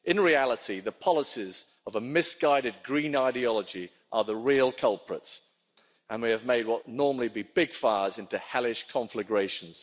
In reality, the policies of a misguided green ideology are the real culprits and we have made what would normally be big fires into hellish conflagrations.